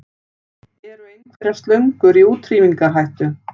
Eru einhverjar slöngur í útrýmingarhættu?